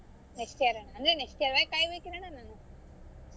Next year ಆ ಅಂದ್ರೆ next year ವರೆಗೂ ಕಾಯಬೇಕ್ ಅಣ್ಣಾ ನಾನು?